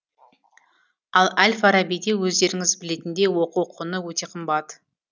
ал әл фарабиде өздеріңіз білетіндей оқу құны өте қымбат